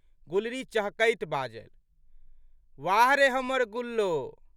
गुलरी चहकैत बाजलि। "वाह रे हमर गुल्लो!